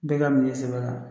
Bɛɛ ka minɛ i sɛbɛ la